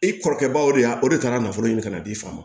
E kɔrɔkɛ baw de y'a o de kɛra nafolo ɲini ka di i fa ma